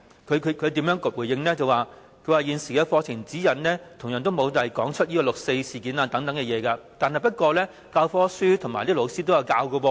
教育局的回應是，現時的課程指引同樣沒有提到六四事件等，但教科書和教師卻仍然有教授。